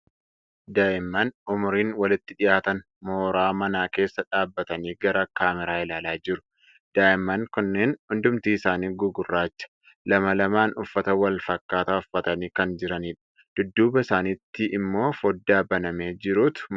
Daa'imman umuriin walitti dhiyaatan moiraa manaa keesaa dhaabbatanii gara kaameraa ilaalaa jiru. Daa'imman kunneen hundumti isaanii gugurraacha. Lama lamaan uffata wal fakkaataa uffatanii kan jiranidha. Dudduuba isaaniitti immoo fooddaa banamee jirutu mul'ata.